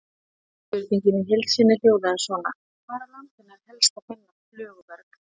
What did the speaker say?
Spurningin í heild sinni hljóðaði svona: Hvar á landinu er helst að finna flöguberg?